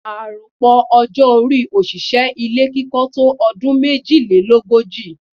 Àròpọ̀ ọọ́-orí òṣìṣẹ́ ilé kíkọ́ tó ọdún méjìlélógojì.